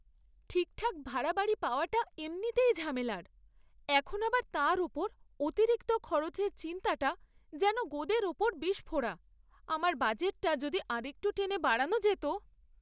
ঠিকঠাক ভাড়া বাড়ি পাওয়াটা এমনিতেই ঝামেলার, এখন আবার তার ওপর অতিরিক্ত খরচের চিন্তাটা যেন গোদের ওপর বিষফোঁড়া। আমার বাজেটটা যদি আরেকটু টেনে বাড়ানো যেত!